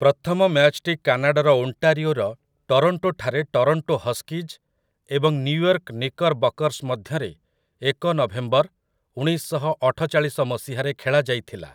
ପ୍ରଥମ ମ୍ୟାଚ୍‌ଟି କାନାଡ଼ାର ଓଣ୍ଟାରିଓର ଟରୋଣ୍ଟୋ ଠାରେ ଟରୋଣ୍ଟୋ ହସ୍କିଜ୍ ଏବଂ ନ୍ୟୁୟର୍କ ନିକରବକର୍ସ ମଧ୍ୟରେ ଏକ ନଭେମ୍ବର, ଉଣେଇଶ ଶହ ଅଠଚାଳିଶ ମସିହାରେ ଖେଳା ଯାଇଥିଲା ।